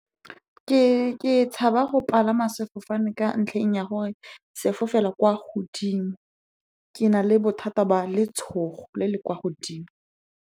Ke tshaba go palama sefofane ka ntlheng ya gore se fofela kwa godimo. Ke na le bothata ba letshogo le le kwa godimo.